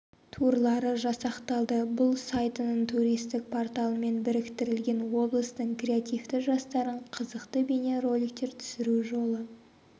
турлары жасақталды бұл сайтының туристік порталымен біріктірілген облыстың креативті жастарын қызықты бейне роликтер түсіру жолы